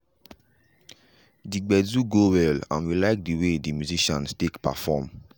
de gbedu go well and we like de way de musicians take perform.